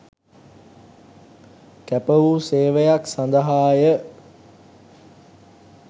කැපවූ සේවයක් සඳහාය